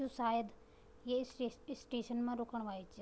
यु सायद ये स्टे-स्टेशन मा रुकण वाल च --